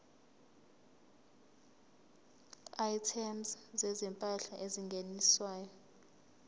items zezimpahla ezingeniswayo